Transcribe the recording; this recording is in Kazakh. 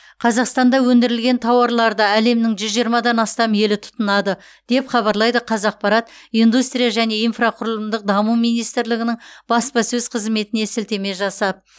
қазақстанда өндірілген тауарларды әлемнің жүз жиырмадан астам елі тұтынады деп хабарлайды қазақпарат индустрия және инфрақұрылымдық даму министрлігінің баспасөз қызметіне сілтеме жасап